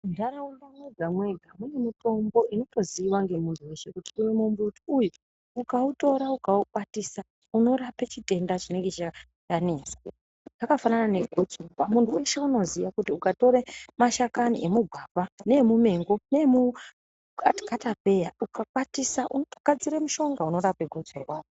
Munharaunda mwega-mwega mune mitombo inotozikanwa nemunhu weshe kutinuyu ukautora ukaukwatisa unorape chitenda chinenge chanesa. Zvakafanana nekuti muntu weshe unoziya kuti ukatore mashakani emugwavha neemumengi neemukatapeya ukakwatisa unotogadzire mushonga unorape gotsorwa.